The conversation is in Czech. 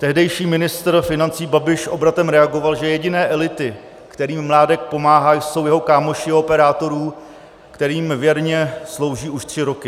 Tehdejší ministr financí Babiš obratem reagoval, že jediné elity, kterým Mládek pomáhá, jsou jeho kámoši u operátorů, kterým věrně slouží už tři roky.